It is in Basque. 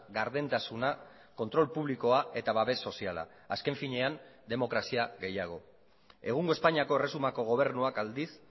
gardentasuna kontrol publikoa eta babes soziala azken finean demokrazia gehiago egungo espainiako erresumako gobernuak aldiz